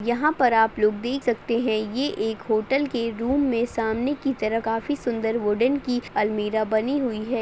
यहाँ पर आप लोग देख सकते है ये एक होटल के रूम में सामने की तरफ काफ़ी सुंदर वुडन की अलमीरा बनी हुई है।